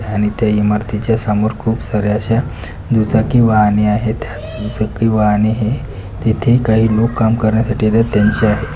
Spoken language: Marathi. आणि इथे इमारतीच्या समोर खूप साऱ्या अश्या दुचाकी वाहने आहेत दु चाकी वाहने हे तिथे काही लोक काम करण्यासाठी येतात त्यांचे आहेत.